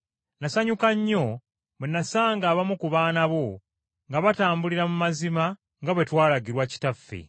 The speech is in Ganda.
Nnasanyuka nnyo, bwe nnasanga abamu ku baana bo nga batambulira mu mazima nga bwe twalagirwa Kitaffe.